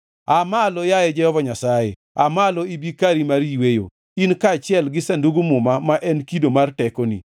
‘Aa malo, yaye Jehova Nyasaye, aa malo ibi kari mar yweyo, in kaachiel gi Sandug Muma ma en kido mar tekoni.